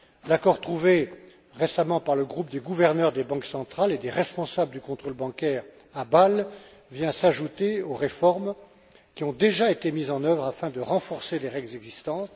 L'accord trouvé récemment par le groupe des gouverneurs des banques centrales et des responsables du contrôle bancaire à Bâle vient s'ajouter aux réformes qui ont déjà été mises en œuvre afin de renforcer les règles existantes.